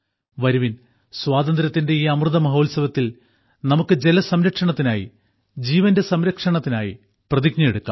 വരുവിൻ സ്വാതന്ത്ര്യത്തിന്റെ ഈ അമൃതമഹോത്സവത്തിൽ നമുക്ക് ജലസംരക്ഷണത്തിനായി ജീവന്റെ സംരക്ഷണത്തിനായി പ്രതിജ്ഞയെടുക്കാം